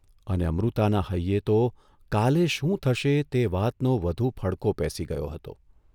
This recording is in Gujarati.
અને અમૃતાના હૈયે તો કાલે શું થશે તે વાતનો વધુ ફડકો પેસી ગયો હતો.